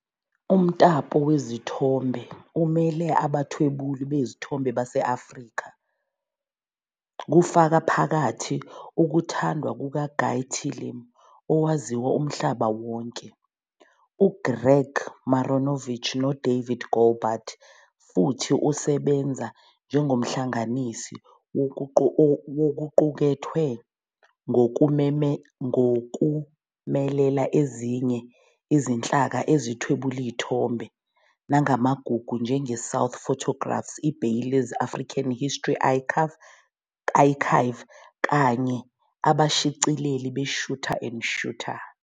Umtapo wezithombe umele abathwebuli bezithombe base-Afrika, kufaka phakathi ukuthandwa kukaGuy Tillim owaziwa umhlaba wonke, uGreg Marinovich noDavid Goldblatt, futhi usebenza njengomhlanganisi wokuqukethwe ngokumelela ezinye izinhlaka ezithwebula izithombe namagugu njengeSouth Photographs, iBaileys African History Archive kanye Abashicileli be-Shuter and Shooter.